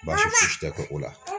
tɛ kɛ o la.